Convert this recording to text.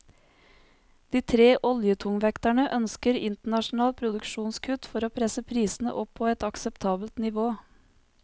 De tre oljetungvekterne ønsker internasjonal produksjonskutt for å presse prisene opp på et akseptabelt nivå.